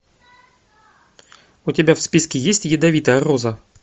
у тебя в списке есть ядовитая роза